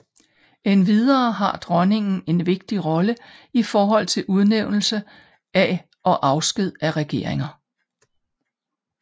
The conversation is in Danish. Endvidere har dronningen en vigtig rolle i forhold til udnævnelse af og afsked af regeringer